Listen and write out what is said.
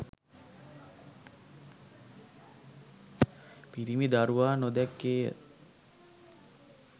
පිරිමි දරුවා නොදැක්කේය